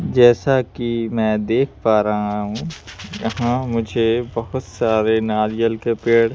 जैसा कि मैं देख पा रहा हूँ यहाँ मुझे बहुत सारे नारियल के पेड़--